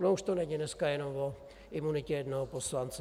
Ono už to není dneska jenom o imunitě jednoho poslance.